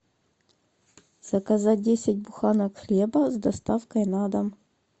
заказать десять буханок хлеба с доставкой на дом